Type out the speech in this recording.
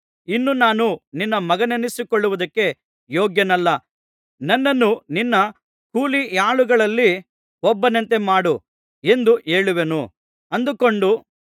ಇನ್ನು ನಾನು ನಿನ್ನ ಮಗನೆನಿಸಿಕೊಳ್ಳುವುದಕ್ಕೆ ಯೋಗ್ಯನಲ್ಲ ನನ್ನನ್ನು ನಿನ್ನ ಕೂಲಿಯಾಳುಗಳಲ್ಲಿ ಒಬ್ಬನಂತೆ ಮಾಡು ಎಂದು ಹೇಳುವೆನು ಅಂದುಕೊಂಡು